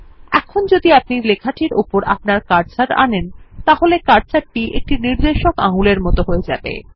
এখন যদি আপনি লেখাটির উপর আপনার কার্সার আনেন তাহলে কার্সারটি একটি নির্দেশক আঙুলের মত হয়ে যাবে